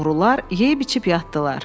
Oğrular yeyib içib yatdılar.